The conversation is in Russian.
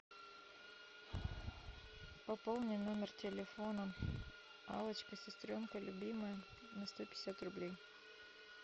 пополни номер телефона аллочка сестренка любимая на сто пятьдесят рублей